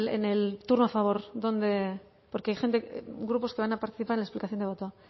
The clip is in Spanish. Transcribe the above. en el turno a favor dónde porque hay gente grupos que van a participar en la explicación de voto